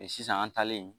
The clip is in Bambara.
Sisan an taalen